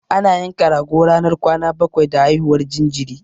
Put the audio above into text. Ana yanka rago ranar kwana bakwai da haihuwar jinjiri.